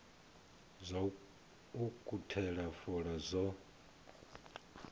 zwa u ukhuthela fola zwo